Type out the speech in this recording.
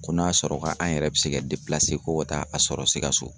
Ko n'a sɔrɔ ka an yɛrɛ bɛ se kɛ ko ka taa a sɔrɔ Sikasso